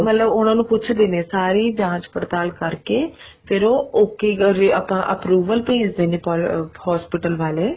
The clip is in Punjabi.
ਮਤਲਬ ਉਹਨਾ ਨੂੰ ਪੁੱਛਦੇ ਨੇ ਸਾਰੀ ਜਾਂਚ ਪੜਤਾਲ ਕਰਕੇ ਫ਼ੇਰ ਉਹ okay ਆਪਾਂ ਆਪਣੀ approval ਭੇਜਦੇ ਨੇ hospital ਵਾਲੇ